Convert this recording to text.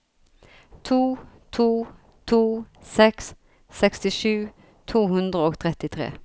to to to seks sekstisju to hundre og trettitre